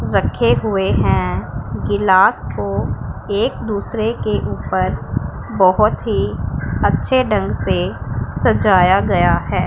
रखे हुए हैं गिलास को एक दूसरे के ऊपर बहुत ही अच्छे ढंग से सजाया गया है।